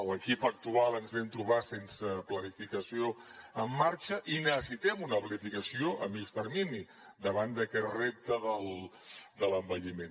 l’equip actual ens vam trobar sense planificació en marxa i necessitem una planificació a mitjà termini davant d’aquest repte de l’envelliment